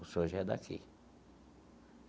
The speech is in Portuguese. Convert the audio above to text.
O senhor já é daqui.